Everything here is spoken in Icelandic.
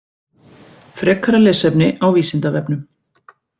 Frekara lesefni á Vísindavefnum